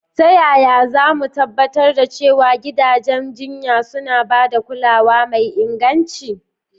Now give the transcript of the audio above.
Ta yaya za mu tabbatar da cewa gidajen jinya suna ba da kulawa mai inganci?